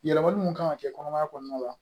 Yɛlɛmali mun kan ka kɛ kɔnɔmaya kɔnɔna la